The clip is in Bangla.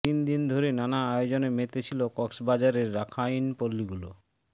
তিন দিন ধরে নানা আয়োজনে মেতে ছিল কক্সবাজারের রাখাইনপল্লিগুলো